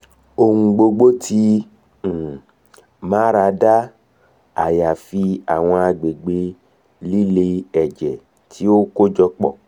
ohun gbogbo ti um marada ayafi awọn agbegbe lile ẹjẹ ti o kojọpọ